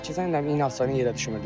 Keçən il dənizin inanırsan yerə düşmürdü.